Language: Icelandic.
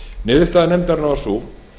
niðurstaða nefndarinnar var sú